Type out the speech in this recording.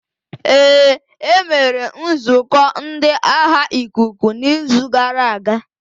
Ee, e mere nzukọ ndi agha ikuku n'izu gara aga.